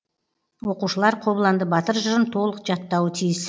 оқушылар қобыланды батыр жырын толық жаттауы тиіс